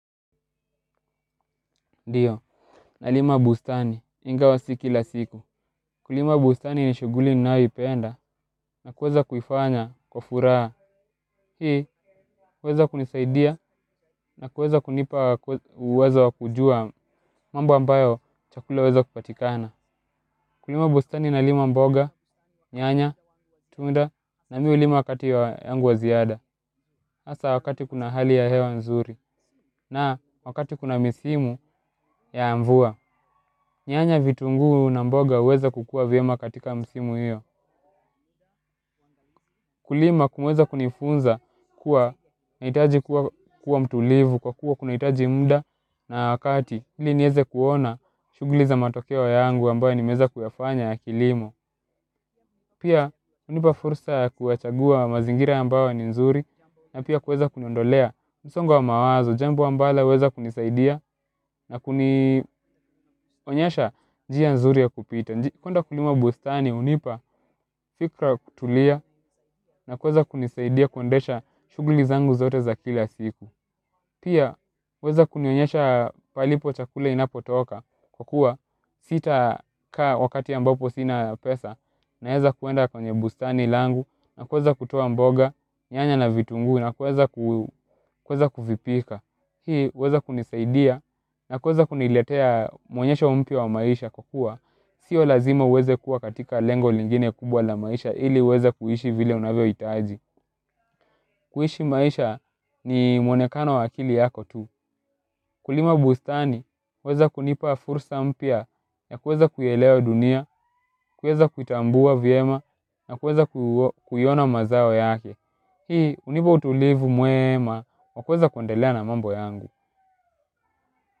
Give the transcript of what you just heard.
Ndiyo, nalima bustani, ingawa si kila siku. Kulima bustani ni shughuli ninayoipenda na kuweza kufanya kwa furaa. Hii huweza kunisaidia na kuweza kunipa uwezo wa kujua mambo ambayo chakula huweza kupatikana. Kulima bustani nalima mboga, nyanya, tunda na mi hulima wakati ya yangu wa ziada. Asa wakati kuna hali ya hewa nzuri na wakati kuna misimu ya mvua. Nyanya vitunguu na mboga huweza kukua vyema katika msimu hiyo kulima huweza kunifunza kuwa nahitaji kuwa mtulivu kwa kuwa kunahitaji muda na wakati ili nieze kuona shughuli za matokeo yangu ambayo nimeeza kuyafanya ya kilimo. Pia hunipa fursa ya kuwachagua mazingira ambayo ni nzuri. Na pia kueza kuniondolea msongo wa mawazo, jambo ambalo huweza kunisaidia. Na kunionyesha njia nzuri ya kupita. Kuenda kulima bustani hunipa, fikra kutulia na kuweza kunisaidia kuendesha shughuli zangu zote za kila siku. Pia, huweza kunionyesha palipo chakula inapotoka kukua sitakaa wakati ambapo sina pesa. Naeza kuenda kwenye bustani langu na kuweza kutoa mboga, nyanya na vitunguu na kuweza kuvipika. Hii huweza kunisaidia na kuweza kuniletea maonyesho mpya wa maisha kukua. Sio lazima huweza kuwa katika lengo lingine kubwa la maisha ili uweze kuishi vile unavyohitaji. Kuishi maisha ni mwonekano wa akili yako tu. Kulima bustani huweza kunipa fursa mpya na kuweza kuielewa dunia. Kuweza kutambua vyema na kuweza kuiona mazao yake. Hii hunipa utulivu mwema wa kuweza kundelea na mambo yangu.